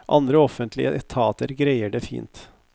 Andre offentlige etater greier det fint.